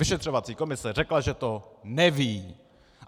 Vyšetřovací komise řekla, že to neví.